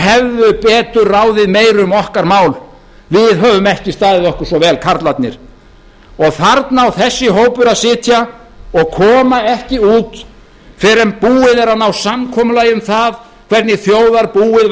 hefðu betur ráðið meiru um okkar mál við höfum ekki staðið okkur svo vel karlarnir þarna á þessi hópur að sitja og koma ekki út fyrr en búið er að ná samkomulagi um það hvernig þjóðarbúið